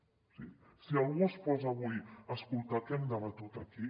o sigui si algú es posa avui a escoltar què hem debatut aquí